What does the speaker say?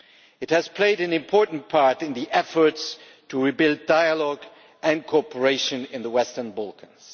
It has played an important part in the efforts to rebuild dialogue and cooperation in the Western Balkans.